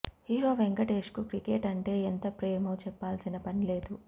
hero వెంకటేష్కు cricket అంటే ఎంత ప్రేమో చెప్పాల్సిన పని లేదు